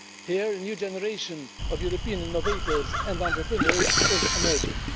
Here, a new generation of European innovators and entrepreneurs is emerging.